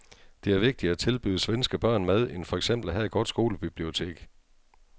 Det er vigtigere at tilbyde svenske børn mad end for eksempel at have et godt skolebibliotek.